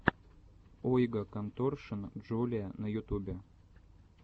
ойга конторшен джулиа на ютубе